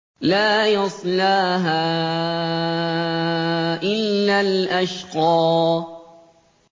لَا يَصْلَاهَا إِلَّا الْأَشْقَى